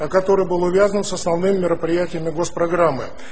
а который был увязан с основным мероприятиями госпрограммы